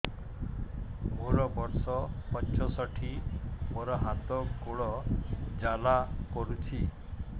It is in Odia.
ମୋର ବର୍ଷ ପଞ୍ଚଷଠି ମୋର ହାତ ଗୋଡ଼ ଜାଲା କରୁଛି